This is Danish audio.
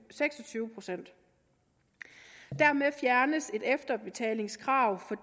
seks og tyve procent dermed fjernes et efterbetalingskrav for